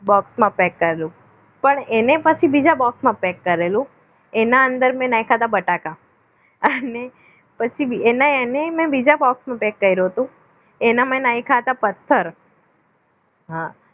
box માં pack કરેલું પણ એને પછી બીજા box માં pack કરેલું એના મેં એના અંદર મેં નાખ્યા હતા બટાકા અને પછી બીજ એને એના એને મેં બીજા કર્યું હતું એના મમ્મી નાખ્યા હતા પથ્થર હા